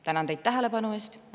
Tänan teid tähelepanu eest!